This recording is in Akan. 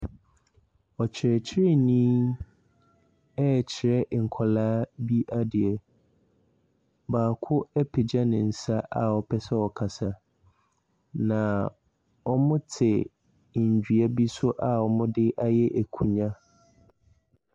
Ɔkyerɛkyerɛni ɛrekyerɛ nkwadaa bi adeɛ, baako apagya ne nsa a ɔpɛ sɛ ɔkasa, na wɔte nnua bi so a wɔde ayɛ nkonnwa.